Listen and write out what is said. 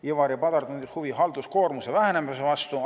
Ivari Padar tundis huvi halduskoormuse vähenemise vastu.